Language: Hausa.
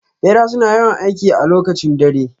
Bera suna yawan aiki a lokacib dare.